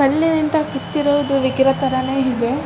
ಕಲ್ಲಿನಿಂದ ಕೆತ್ತಿರುವ ವಿಗ್ರಹ ತರಾನೇ ಇದೆ.